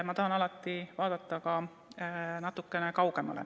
Ma tahan alati vaadata natukene kaugemale.